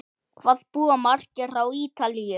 Hvað búa margir á Ítalíu?